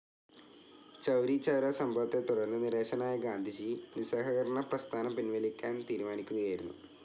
ചൗരിചൗരാ സംഭവത്തെത്തുടർന്ന് നിരാശനായ ഗാന്ധിജി നിസ്സഹകരണപ്രസ്ഥാനം പിൻവലിക്കാൻ തീരുമാനിക്കുകയായിരുന്നു.